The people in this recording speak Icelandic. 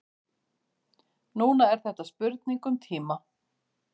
Núna er þetta spurning um tíma.